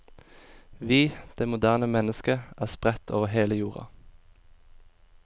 Vi, det moderne menneske, er spredt over hele jorda.